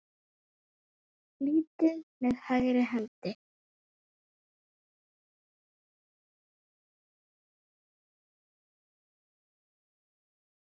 litið með hægri hendi.